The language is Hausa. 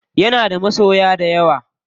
Yana da masoya dayawa.